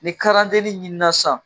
Ni ɲinina sisan